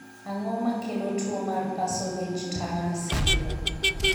Ang'o makelo tuo mar Parsonage Turner syndrome?